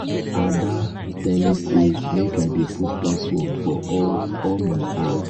ada tell me say make i dey put password for all all my app